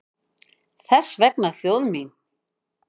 Þess vegna þjóð mín!